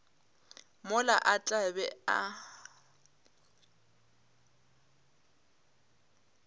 mola a tla be a